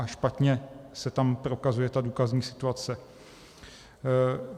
A špatně se tam prokazuje ta důkazní situace.